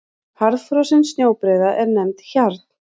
Harðfrosin snjóbreiða er nefnd hjarn.